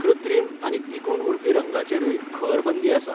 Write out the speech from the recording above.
कृत्रिम आनी तिगून उरपी रंगांचेरूय खर बंदी आसा!